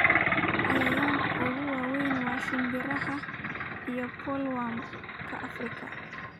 Cayayaanka ugu waaweyn waa shimbiraha iyo bollworm-ka Afrika.